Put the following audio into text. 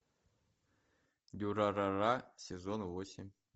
дюрарара сезон восемь